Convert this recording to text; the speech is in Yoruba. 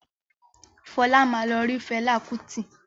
Fọlá máa lọ rí Fẹlá Kútì.